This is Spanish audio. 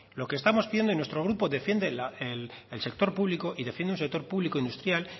lo que estamos pidiendo y nuestro grupo defiende el sector público y defiende un sector publico industrial